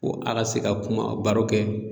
Ko a ka se ka kuma baro kɛ